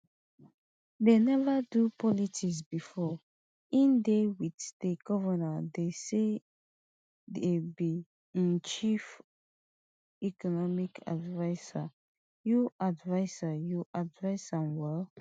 dem neva do politics bifor e dey wit di govnor dey say e be im chief economic adviser you adviser you advise am well